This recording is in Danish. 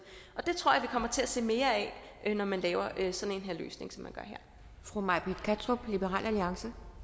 det tror jeg kommer til at se mere af når man laver sådan en løsning som man gør her